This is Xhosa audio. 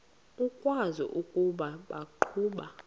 ukwazi ukuba baqhuba